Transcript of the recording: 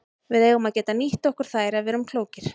Við eigum að geta nýtt okkur þær ef við erum klókir.